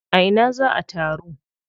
A ina za a taru?